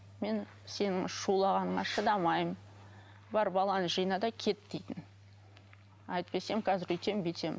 мен сенің шулағаныңа шыдамаймын бар баланы жина да кет дейтін әйтпесе мен қазір өйтем бүйтем